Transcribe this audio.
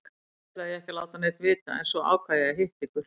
Fyrst ætlaði ég ekki að láta neinn vita en svo ákvað ég að hitta ykkur.